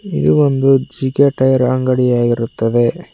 ಇದು ಒಂದು G K tyres ಅಂಗಡಿಯಾಗಿರುತ್ತದೆ.